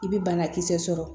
I bɛ banakisɛ sɔrɔ